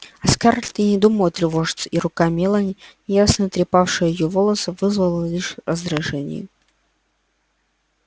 а скарлетт и не думала тревожиться и рука мелани неясно трепавшая её волосы вызвала лишь раздражение